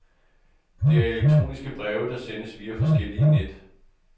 Det er elektroniske breve, der sendes via forskellige net.